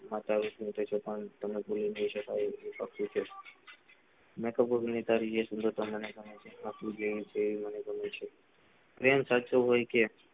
તમને ભૂલી નહિ શકાય મેતો બોલી એ સુંદરતા ગમે છે પ્રેમ સાચો હોય કે